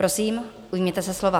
Prosím, ujměte se slova.